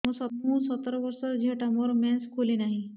ମୁ ସତର ବର୍ଷର ଝିଅ ଟା ମୋର ମେନ୍ସେସ ଖୁଲି ନାହିଁ